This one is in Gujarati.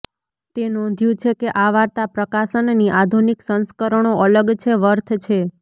તે નોંધ્યું છે કે આ વાર્તા પ્રકાશનની આધુનિક સંસ્કરણો અલગ છે વર્થ છે